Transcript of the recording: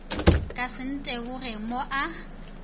ka se nteboge mo a